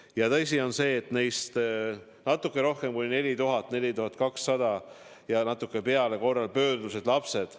Ja tõsi on see, et neist natuke rohkem kui 4000 korral – neid oli 4200 ja natuke peale – olid pöördujad lapsed.